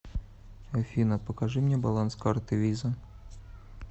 афина покажи мне баланс карты виза